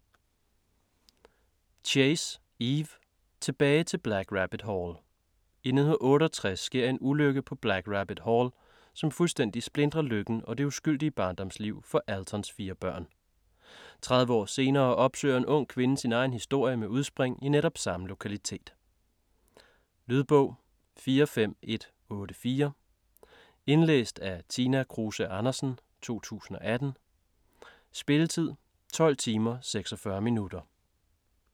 Chase, Eve: Tilbage til Black Rabbit Hall I 1968 sker en ulykke på Black Rabbit Hall, som fuldstændig splintrer lykken og det uskyldige barndomsliv for Altons fire børn. 30 år senere opsøger en ung kvinde sin egen historie med udspring i netop samme lokalitet. Lydbog 45184 Indlæst af Tina Kruse Andersen, 2018. Spilletid: 12 timer, 46 minutter.